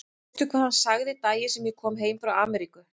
Veistu hvað hann sagði daginn sem ég kom heim frá Ameríku?